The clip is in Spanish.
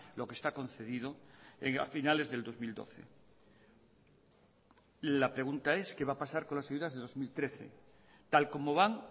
lo que está concedido a finales del dos mil doce la pregunta es qué va a pasar con las ayudas de dos mil trece tal como van